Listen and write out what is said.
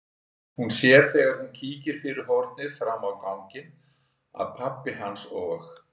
Hún sér þegar hún kíkir fyrir horn fram á ganginn að pabbi hans og